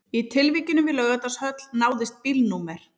Í tilvikinu við Laugardalshöll náðist bílnúmer